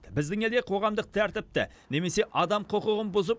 біздің елде қоғамдық тәртіпті немесе адам құқығын бұзып